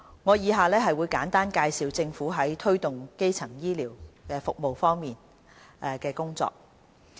我以下會簡單介紹政府在推動基層醫療服務方面的工作。